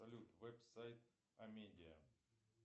салют веб сайт амедиа